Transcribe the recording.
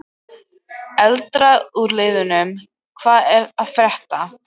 Eldra úr liðnum hvað er að frétta?